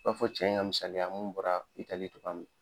I b'a fɔ cɛ in ŋa misaliya mun bɔra Italie togoya min